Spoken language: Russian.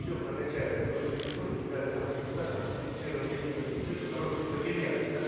всё прокачали в короткие сроки и дали нам депутатам членам комиссии по бюджету хорошие материалы да